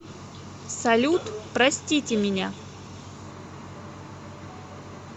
салют простите меня